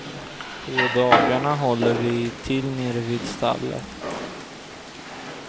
På dagarna håller vi till nere vid stallet.